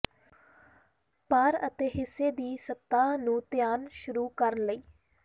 ਭਾਰ ਅਤੇ ਹਿੱਸੇ ਦੀ ਸਤਹ ਨੂੰ ਧਿਆਨ ਸ਼ੁਰੂ ਕਰਨ ਲਈ